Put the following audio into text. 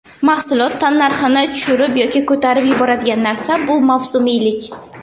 Mahsulot tannarxini tushirib yoki ko‘tarib yuboradigan narsa bu mavsumiylik.